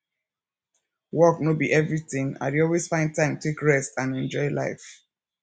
work no be everything i dey always find time take rest and enjoy life